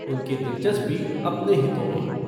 उनकी दिलचस्पी अपने हितों में।